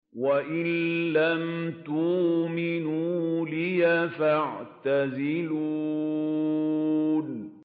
وَإِن لَّمْ تُؤْمِنُوا لِي فَاعْتَزِلُونِ